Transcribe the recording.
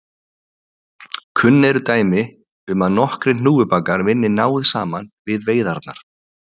Kunn eru dæmi um að nokkrir hnúfubakar vinni náið saman við veiðarnar.